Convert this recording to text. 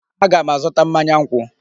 Aga m azụta mmanya nkwụ.